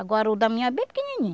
Agora o Damião é bem pequenininho.